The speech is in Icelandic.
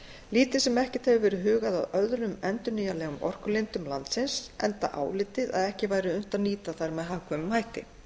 lítið sem ekkert hefur verið hugað að öðrum endurnýjanlegum orkulindum landsins enda álitið að ekki væri unnt að nýta þær með hagkvæmum hætti